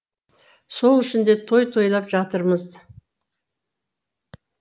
сол үшін де той тойлап жатырмыз